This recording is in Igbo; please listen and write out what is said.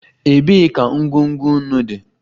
Ebee ka ngwugwu nnu dị?